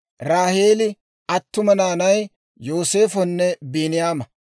Raaheeli attuma naanay Yooseefanne Biiniyaama.